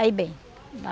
Aí bem.